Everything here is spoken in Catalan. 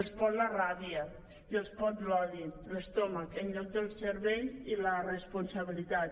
els pot la ràbia i els pot l’odi l’estómac en lloc del cervell i la responsabilitat